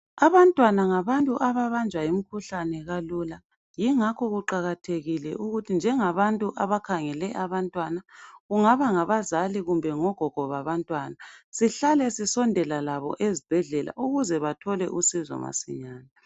abantwana ngabantu ababanjwa yimkhuhlane kalula yingakho kuqakathekile ukuthi njengabantu abakhangele abantwana kungaba ngabazali kumbe ngogogo babantwana sihlale sisondela labo ezibhedlela ukuze bathole usizo masinyane